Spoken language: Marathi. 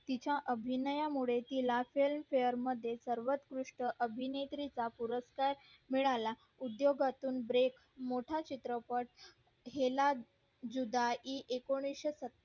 अभिनया मुळे तिला films fair मध्ये सर्वंकृष्ट अभिनेत्री चा पुरस्कार मिळाला उद्योगातून break मोठा चित्रपट हेला जुदाई एकोणीशे सत्तर